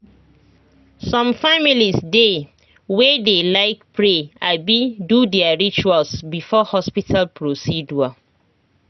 some families dey way dey like pray abi do their rituals before hospital procedure